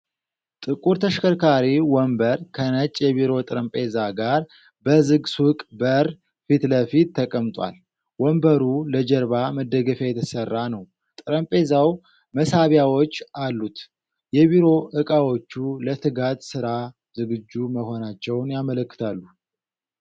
ጥቁር ተሽከርካሪ ወንበር ከነጭ የቢሮ ጠረጴዛ ጋር በዝግ ሱቅ በር ፊት ለፊት ተቀምጧል። ወንበሩ ለጀርባ መደገፊያ የተሰራ ነው፣ ጠረጴዛው መሳቢያዎች አሉት፤ የቢሮ እቃዎቹ ለትጋት ስራ ዝግጁ መሆናቸውን ያመለክታሉ።